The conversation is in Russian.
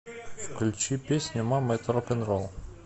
включи песню мама это рок н ролл